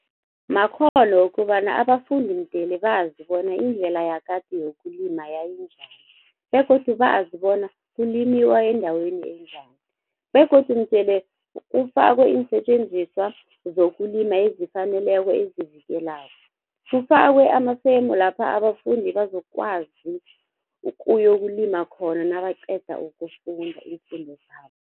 Makghono wokobana abafundi mdele bazi bona indlela yakade yokulima yayinjani begodu bazi bona kulimiwa endaweni enjani begodu mdele kufakwe iinsetjenziswa zokulima ezifaneleko ezivikelako. Kufakwe amafemu lapha abafundi bazokwazi ukuyokulima khona nabaqeda ukufunda iimfundo zabo.